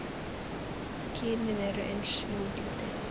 Kynin eru eins í útliti.